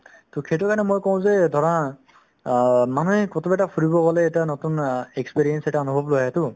to সেইটো কাৰণে মই কওঁ যে ধৰা অ মানুহে ফুৰিব গ'লে এটা নতুন অ experience এটা লগত লৈ আহেতো